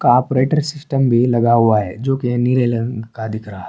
Operator system بھی لگا ہوا ہے، جو کہ نیلے رنگ کا دکھ رہا.